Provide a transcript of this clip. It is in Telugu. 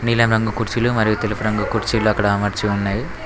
నీలం రంగు కుర్చీలు మరియు తెలుపు రంగు కుర్చీలు అక్కడ అమర్చి ఉన్నవి.